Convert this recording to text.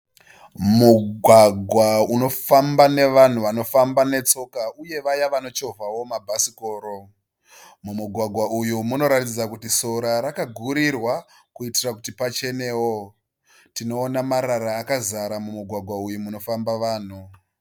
Mugwagwa unofamba nevanhu vanofamba netsoka uye vaya vanochovhawo mabhasikoro. Mumugwagwa uyu munoratidza kuti sora rakagurirwa kuitira kuti pachenewo. Tinoona marara akazara mumugwagwa unofamba nevanhu.